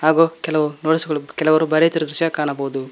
ಹಾಗೂ ಕೆಲವರು ನೋಟ್ಸ್ ಬರೆಯುತ್ತಿರುವ ದೃಶ್ಯ ಕಾಣಬಹುದು.